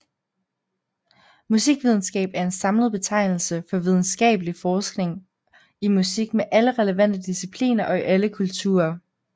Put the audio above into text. Musikvidenskab er en samlet betegnelse for videnskabelig forskning i musik med alle relevante discipliner og i alle kulturer